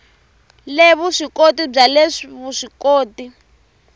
le vuswikoti bya le vuswikoti